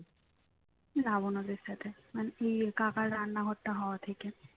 লাভ ওনাদের সাথে মানে এই কাকার রান্নাঘরটা হওয়া থেকে